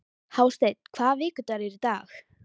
Hásteinn, hvaða vikudagur er í dag?